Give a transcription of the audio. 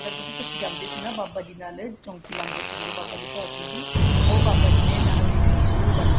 ਜਿਹਦੇ ਅਸੀਂ ਜਾਂਦੇ ਸੀ ਨਾ ਬਾਬਾ ਜੀ ਨਾਲ ਚੋੰਕੀ ਲਾਂਦੇ ਸੀ ਜਿਹੜੇ ਬਾਬਾ ਬਡਭਾਗ ਸਿੰਘ ਜੀ ਉਹ ਬਾਬਾ ਜੀ ਨੇ ਨੈਣਾ ਦੇਵੀ ਜਰੁਰ ਜਾਣਾ